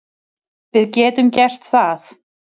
Við getum gert það.